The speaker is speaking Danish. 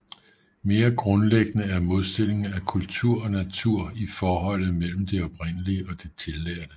Mere grundlæggende er modstillingen af kultur og natur i forholdet mellem det oprindelige og det tillærte